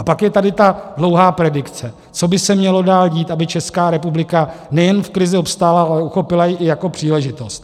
A pak je tady ta dlouhá predikce, co by se mělo dál dít, aby Česká republika nejen v krizi obstála, ale uchopila ji i jako příležitost.